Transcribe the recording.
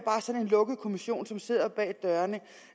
sådan en lukket kommission som sidder bag